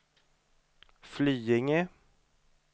Flyinge